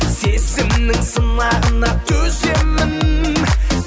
сезімнің сынағына төземін